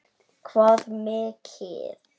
Hvað mikið?